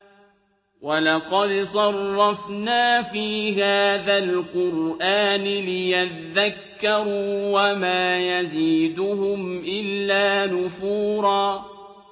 وَلَقَدْ صَرَّفْنَا فِي هَٰذَا الْقُرْآنِ لِيَذَّكَّرُوا وَمَا يَزِيدُهُمْ إِلَّا نُفُورًا